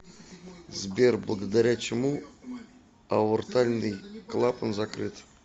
сбер благодаря чему аортальный клапан закрыт